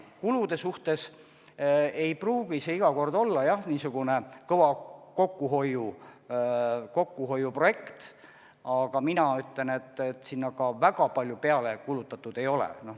Kulude mõttes ei pruugi iga kord tegu olla niisuguse kõva kokkuhoiu projektiga, aga mina ütlen, et sinna ka väga palju peale kulutatud ei ole.